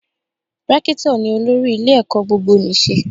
Rékítọ̀ ni olórí ilé ẹ̀kọ́ gbogbonìṣe